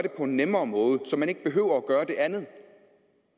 på en nemmere måde så man ikke behøver at gøre det andet